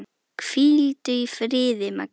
Hvíldu í friði, Magga mín.